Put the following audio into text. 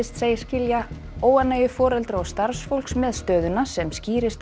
segist skilja óánægju foreldra og starfsfólks með stöðuna sem skýrist af